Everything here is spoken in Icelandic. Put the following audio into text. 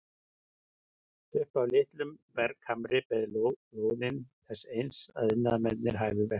Upp af litlum berghamri beið lóðin þess eins að iðnaðarmenn hæfu verkið.